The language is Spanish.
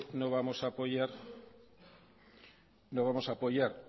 no vamos a apoyar